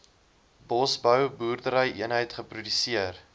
bosbou boerderyeenheid geproduseer